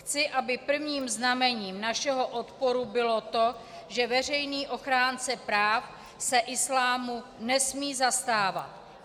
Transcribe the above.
Chci, aby prvním znamením našeho odporu bylo to, že veřejný ochránce práv se islámu nesmí zastávat.